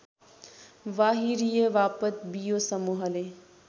बाहिरिएवापत बियो समूहले